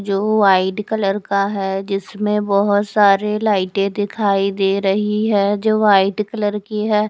जो white colour का है जिसमे बहोत सारी लाइटे दिखाई दे रही है जो वाईट कलर की है।